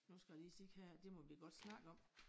Nu skal jeg sige se her det må vi godt snakke om